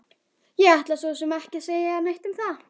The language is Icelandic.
Ég ætla svo sem ekki að segja neitt um það!